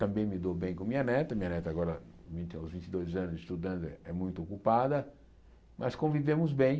Também me dou bem com minha neta, minha neta agora vinte aos vinte e dois anos estudando é muito ocupada, mas convivemos bem.